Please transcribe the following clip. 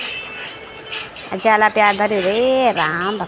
अर जाला प्याट धर्युं रे राम भ --